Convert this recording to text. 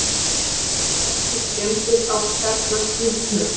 Ekki skemmdir á kjarnakljúfnum